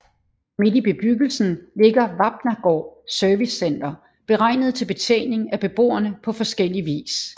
Midt i bebyggelsen ligger Vapnagaard Servicecenter beregnet til betjening af beboerne på forskellig vis